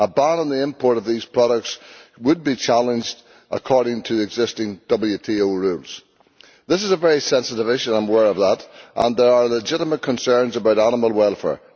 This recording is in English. A ban on the import of these products would be challenged according to the existing WTO rules. This is a very sensitive issue, I am aware of that, and there are legitimate concerns about animal welfare.